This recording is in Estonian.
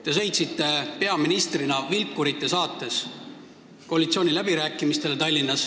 Te sõitsite Tallinnas peaministrina vilkurite saatel koalitsiooniläbirääkimistele.